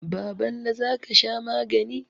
Baballe, za ka sha magani.